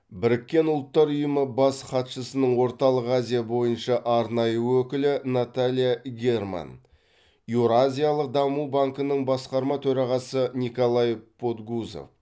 біріккен ұлттар ұйымы бас хатшысының орталық азия бойынша арнайы өкілі наталья герман еуразиялық даму банкінің басқарма төрағасы николай подгузов